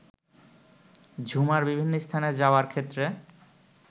ঝুমার বিভিন্ন স্থানে যাওয়ার ক্ষেত্রে